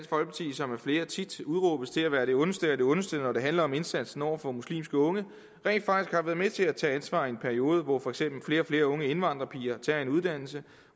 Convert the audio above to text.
som af flere tit udråbes til at være det ondeste af det ondeste når det handler om indsatsen over for muslimske unge rent faktisk har været med til at tage ansvar i en periode hvor for eksempel flere og flere unge indvandrerpiger tager en uddannelse